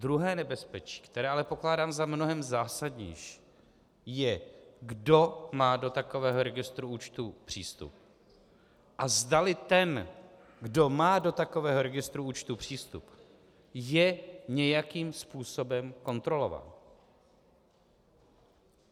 Druhé nebezpečí, které ale pokládám za mnohem zásadnější, je, kdo má do takového registru účtů přístup a zdali ten, kdo má do takového registru účtů přístup, je nějakým způsobem kontrolovaný.